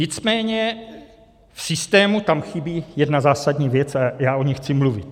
Nicméně v systému tam chybí jedna zásadní věc a já o ní chci mluvit.